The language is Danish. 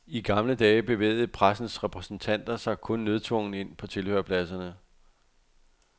I gamle dage bevægede pressens repræsentanter sig kun nødtvungent ind på tilhørerpladserne.